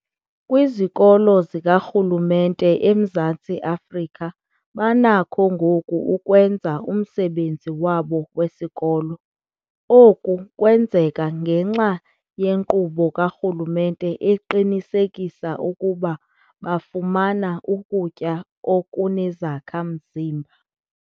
Kwizikolo zikarhulumente eMzantsi Afrika banakho ngoku ukwenza umsebenzi wabo wesikolo. Oku kwenzeka ngenxa yenkqubo karhulumente eqinisekisa ukuba bafumana ukutya okunezakha-mzimba.